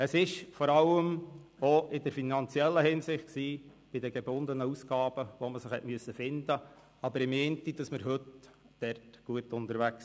Es war vor allem auch in finanzieller Hinsicht, bei den gebundenen Ausgaben, wo man sich finden musste.